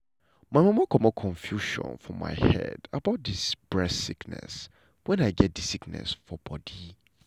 my mama comot confusion for my head about dis breast sickness wen i get di sickness for bodi.